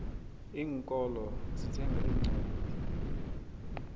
iinkolo zithenga iincwadi